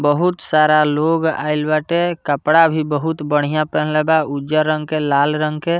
बहुत सारा लोग आइल बाटे कपड़ा भी बहुत बढ़िया पेन्हले बा उज्जर रंग के लाल रंग के।